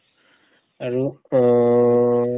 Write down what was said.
আৰু অ-হ্